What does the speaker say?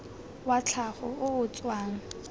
wa tlhago o o tswang